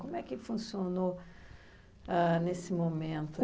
Como é que funcionou ãh nesse momento?